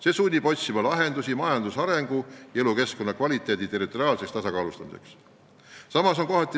See sunnib otsima lahendusi majandusarengu ja elukeskkonna kvaliteedi ühtlustamiseks riigi territooriumil.